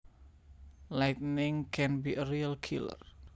Lighting can be a real killer